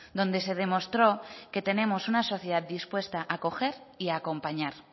donde se demostró que tenemos una sociedad dispuesta a acoger y a acompañar